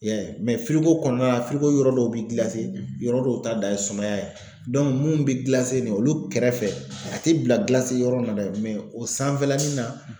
I y'a ye mɛ firiko kɔnɔna la firiko yɔrɔ dɔw be gilase yɔrɔ dɔw ta dan ye sumaya ye Dɔnke mun be gilase nin ye olu kɛrɛfɛ a te bila bilase yɔrɔ in na dɛ mɛ o sanfɛlanin na